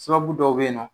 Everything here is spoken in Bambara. Sababu dɔw be yen nɔ